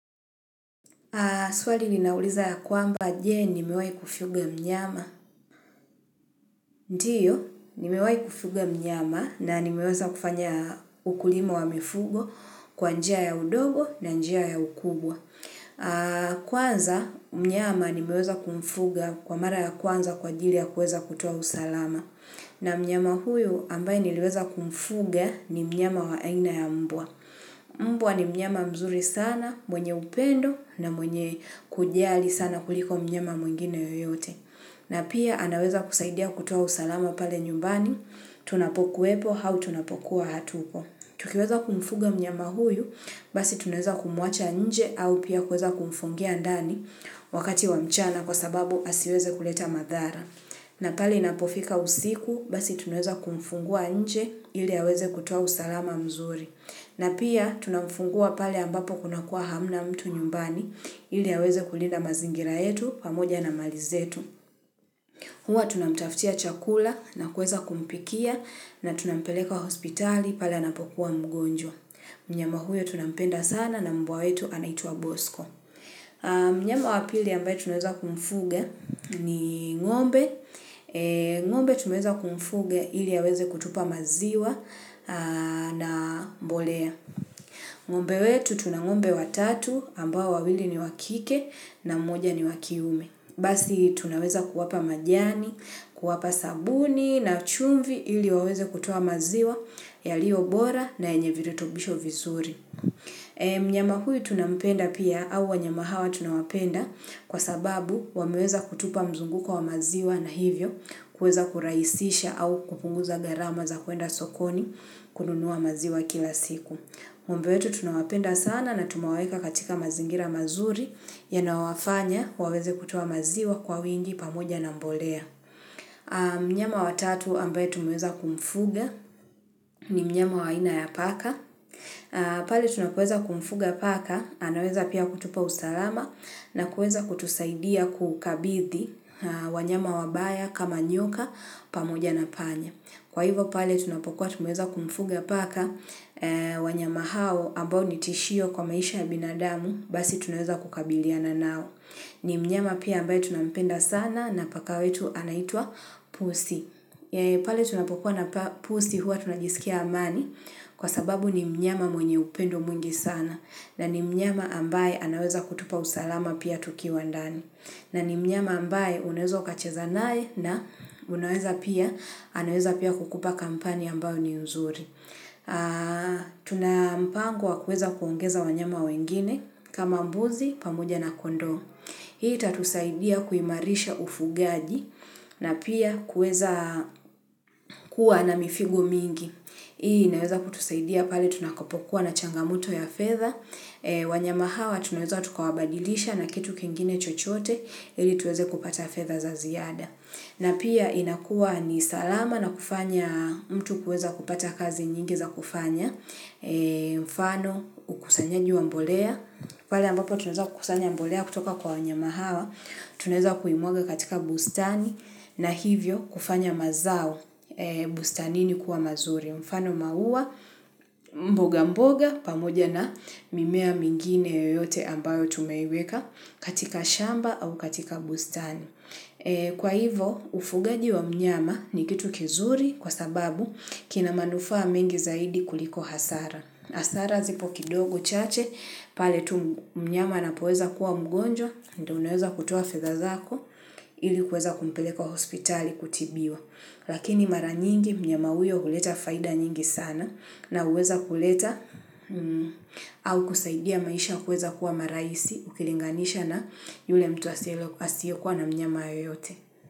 Swali linauliza ya kwamba, je nimewahi kufuga mnyama? Ndiyo, nimewahi kufuga mnyama na nimeweza kufanya ukulima wa mifugo kwa njia ya udogo na njia ya ukubwa. Kwanza, mnyama nimeweza kumfuga kwa mara ya kwanza kwa ajili ya kuweza kutoa usalama. Na mnyama huyo ambaye niliweza kumfuga ni mnyama wa aina ya mbwa. Mbwa ni mnyama mzuri sana, mwenye upendo na mwenye kujiali sana kuliko mnyama mwingine yoyote na pia anaweza kusaidia kutoa usalama pale nyumbani, tunapokuwepo au tunapokuwa hatuko. Tukiweza kumfuga mnyama huyu, basi tunaweza kumuacha nje au pia kuweza kumfungia ndani wakati wa mchana kwa sababu asiweze kuleta madhara. Na pali inapofika usiku, basi tunaweza kumfungua nje ili aweze kutoa usalama mzuri na pia tunamfungua pale ambapo kunakua hamna mtu nyumbani ili yaweze kulinda mazingira yetu pamoja na malizetu. Hua tunamtaftia chakula na kuweza kumpikia na tunampeleka hospitali pale anapokuwa mgonjwa. Mnyama huyo tunapenda sana na mbwa wetu anaituwa bosko. Mnyama wapili ambaye tunaweza kumfuga ni ng'ombe. Ng'ombe tunuweza kumfuga ili aweze kutupa maziwa na mbolea. Ng'ombe wetu tunang'ombe watatu ambao wawili ni wakike na mmoja ni wakiume. Basi tunaweza kuwapa majani, kuwapa sabuni na chumvi ili waweze kutoa maziwa yalio bora na yenye virutubisho vizuri. Mnyama huyu tunampenda pia au wanyama hawa tunawapenda kwa sababu wameweza kutupa mzunguko wa maziwa na hivyo kuweza kurahisisha au kupunguza gharama za kuenda sokoni kununua maziwa kila siku. Ng'ombe wetu tunawapenda sana na tumaweka katika mazingira mazuri yanao wafanya waweze kutoa maziwa kwa uwingi pamoja na mbolea. Mnyama watatu ambaye tumweza kumfuga ni mnyama waina ya paka. Pale tunapokuweza kumfuga paka anaweza pia kutupa usalama na kuweza kutusaidia kukabithi wanyama wabaya kama nyoka pamoja na panya. Kwa hivyo pale tunapokuwa tumeweza kumfuga paka wanyama hao ambao nitishio kwa maisha ya binadamu basi tunweza kukabiliana nao. Ni mnyama pia ambaye tunampenda sana na paka wetu anaitwa pusi. Pale tunapokuwa na pusi huwa tunagisikia amani kwa sababu ni mnyama mwenye upendo mwingi sana na ni mnyama ambaye anaweza kutupa usalama pia tukiwa ndani. Na ni mnyama ambaye unaweza kacheza nae na unaweza pia anaweza pia kukupa kampani ambao ni uzuri. Tuna mpango wa kuweza kuongeza wanyama wengine kama mbuzi pamoja na kondoo. Hii itatusaidia kuimarisha ufugaji na pia kuweza kuwa na mifigo mingi. Hii inaweza kutusaidia pale tunakopokuwa na changamoto ya fadha. Wanyama hawa tunaweza tukawabadilisha na kitu kingine chochote ili tuweze kupata fedha za ziada na pia inakuwa ni salama na kufanya mtu kuweza kupata kazi nyingi za kufanya. Mfano ukusanyaji wa mbolea pale ambapo tunaweza kukusanya mbolea kutoka kwa wanyama hawa. Tunaweza kuimwaga katika bustani na hivyo kufanya mazao bustanini kuwa mazuri mfano maua mboga mboga pamoja na mimea mingine yoyote ambayo tumeiweka katika shamba au katika bustani. Kwa hivyo, ufugaji wa mnyama ni kitu kizuri kwa sababu kina manufaa mengi zaidi kuliko hasara. Hasara zipo kidogo chache, pale tu mnyama anapoweza kuwa mgonjwa, ndiyo unaweza kutoa fedha zako, ili kuweza kumpeleka hospitali kutibiwa. Lakini mara nyingi mnyama huyo huleta faida nyingi sana na huweza kuleta au kusaidia maisha kuweza kuwa marahisi ukilinganisha na yule mtu asiye kuwa na mnyama yoyote.